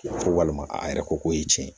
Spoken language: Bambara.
Ko walima a yɛrɛ ko k'o ye tiɲɛ ye